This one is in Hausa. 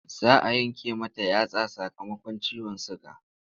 Za a yanke mata yatsa sakamakon ciwon suga.